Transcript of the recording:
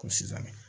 Ko sisan